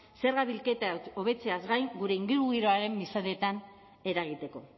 zerga bilketa hobetzeaz gain gure ingurugiroaren mesedetan eragiteko